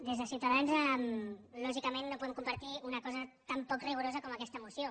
des de ciutadans lògicament no podem compartir una cosa tan poc rigorosa com aquesta moció